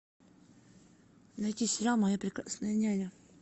найти сериал моя прекрасная няня